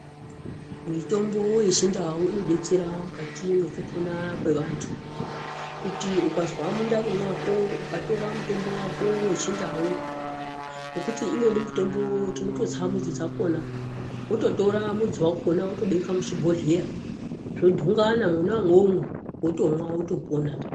Mitombo yechindau inodetsera mukati mwekupona kwevantu. Kuti ukazwa mundani mwako ukatora mutombo wako wechindau, ngokuti imweni mutombo tinototsa mudzi dzakona wototora mudzi wakona wotobeka muchibhohhleya, zvodhungana mwona umwomwo, wotomwa wotopona.